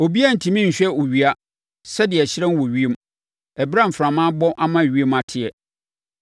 Obiara rentumi nhwɛ owia, sɛdeɛ ɛhyerɛn wɔ ewiem ɛberɛ a mframa abɔ ama ewiem ateɛ.